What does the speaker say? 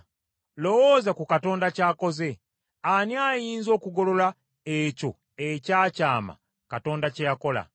Lowooza ku Katonda ky’akoze: ani ayinza okugolola ekyo ekyakyama Katonda kye yakola?